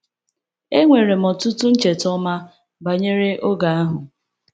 Enwere m ọtụtụ ncheta ọma banyere oge ahụ.